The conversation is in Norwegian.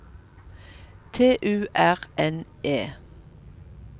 T U R N É